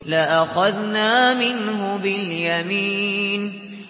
لَأَخَذْنَا مِنْهُ بِالْيَمِينِ